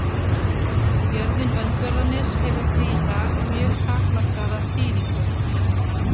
Jörðin Öndverðarnes hefur því í dag mjög takmarkaða þýðingu.